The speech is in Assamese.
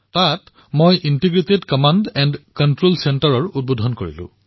তাত মই ইণ্টিগ্ৰেটেড কমাণ্ড এণ্ড কণ্ট্ৰল চেণ্টাৰৰ লোকাৰ্পণ কৰিলো